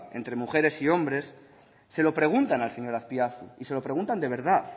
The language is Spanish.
entre mujeres y hombres se lo preguntan al señor azpiazu y se lo preguntan de verdad